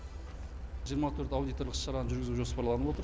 жиырма төрт аудиторлық іс шараны жүргізу жоспарланып отыр